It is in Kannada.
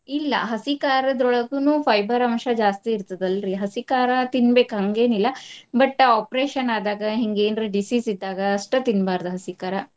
ಇಲ್ಲಾ ಹಸಿ ಕಾರದ್ರೋಳಗುನು fiber ಅಂಶ ಜಾಸ್ತಿ ಇರ್ತದಲ್ರಿ ಹಸಿ ಕಾರಾ ತಿನ್ಬೇಕ್ ಹಂಗೆನಿಲ್ಲಾ. But operation ಆದಾಗ ಹಿಂಗ್ ಏನ್ರ disease ಇದ್ದಾಗ ಅಷ್ಟ ತಿನ್ಬಾರ್ದ್ ಹಸಿ ಕಾರಾ.